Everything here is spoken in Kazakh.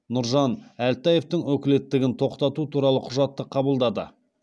нұржан әлтаевтың өкілеттігін тоқтату туралы құжатты қабылдады